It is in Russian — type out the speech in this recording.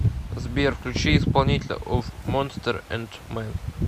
сбер включи исполнителя оф монстерс энд мэн